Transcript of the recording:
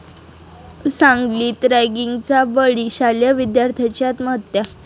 सांगलीत रॅगिंगचा बळी?, शालेय विद्यार्थ्याची आत्महत्या